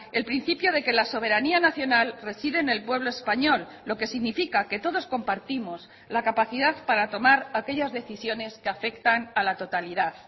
el principio de que la soberanía nacional reside en el pueblo español lo que significa que todos compartimos la capacidad para tomar aquellas decisiones que afectan a la totalidad